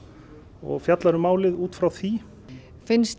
og fjallar um málið út frá því